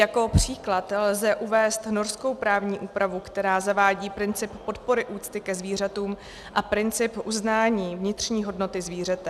Jako příklad lze uvést norskou právní úpravu, která zavádí princip podpory úcty ke zvířatům a princip uznání vnitřní hodnoty zvířete.